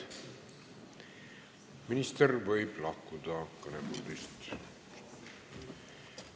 Minister võib kõnetoolist lahkuda.